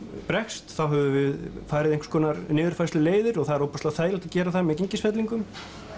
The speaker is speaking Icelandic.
bregst þá höfum við farið einhvers konar niðurfærsluleiðir og það er ofboðslega þægilegt að gera það með gengisfellingum